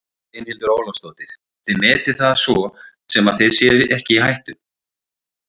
Brynhildur Ólafsdóttir: Þið metið það sem svo að þið séuð ekki í hættu?